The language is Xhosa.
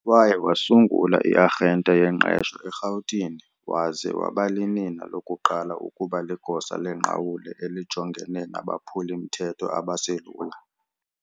Waye wasungula i-arhente yengqesho eRhawutini waze wabalinina lokuqala ukuba ligosa lengqawule elijongene nabaphuli-mthetho abaselula.